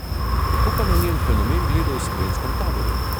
Kako pa na njen fenomen gledajo v slovenskem taboru?